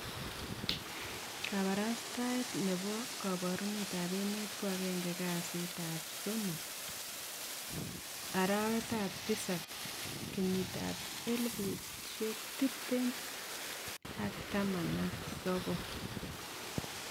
Kabarastaet nebo kabarunet ab emet ko agenge kasi 03/7/2019